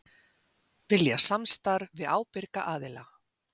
Vilja samstarf við ábyrga aðila